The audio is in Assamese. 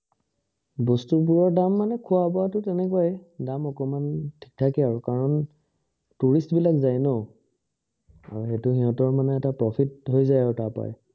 বস্তু বোৰৰ দাম মানে খোৱা বোৱাটো তেনেকুৱাই দাম অকমান ঠিক ঠাকে আৰু কাৰণ tourist বিলাক যাই ন আৰু এইটো সিহঁতৰ প্ৰফিত হৈ যায় আৰু তাৰ পৰাই